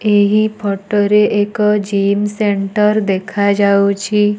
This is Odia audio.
ଏହି ଫଟୋ ରେ ଏକ ଜିମ୍ ସେଣ୍ଟର ଦେଖାଯାଉଛି।